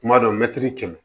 Kuma dɔ mɛtiri kɛmɛ